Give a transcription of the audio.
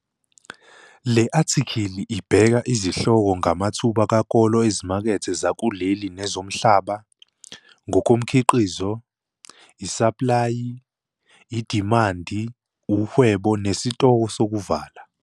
LE ATHIKHILI IBEKA IZIHLOKO NGAMATHUBA KAKOLO EZIMAKETHE ZAKULELI NEZOMHLABA, NGOKOMKHIQIZO, ISAPLAYI, IDIMANDI UWHEBO NESITOKO SOKUVALA.